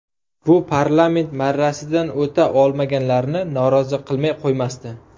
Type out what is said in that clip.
Bu parlament marrasidan o‘ta olmaganlarni norozi qilmay qo‘ymasdi.